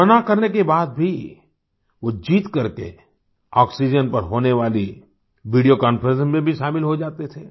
मना करने के बाद भी वो ज़िद करके ऑक्सीजन पर होने वाली वीडियों कॉन्फ्रेंस में भी शामिल हो जाते थे